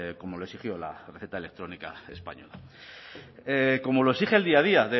como exigió la receta electrónica española como lo exige el día a día